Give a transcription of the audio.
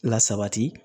Lasabati